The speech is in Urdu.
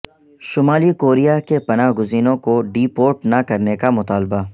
شمالی کوریا کے پناہ گزینوں کو ڈی پورٹ نہ کرنے کا مطالبہ